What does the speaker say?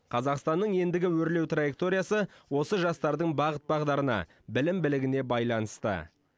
қазақстанның ендігі өрлеу траекториясы осы жастардың бағыт бағдарына білім білігіне байланысты